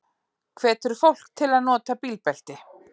Hvetur fólk til að nota bílbelti